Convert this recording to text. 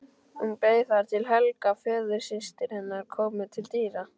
Hún beið þar til Helga, föðursystir hennar, kom til dyra.